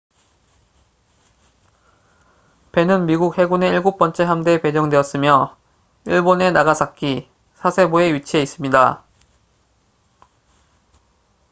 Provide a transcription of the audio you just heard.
배는 미국 해군의 일곱 번째 함대에 배정되었으며 일본의 나가사키 사세보에 위치해 있습니다